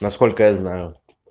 насколько я знаю